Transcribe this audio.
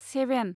seven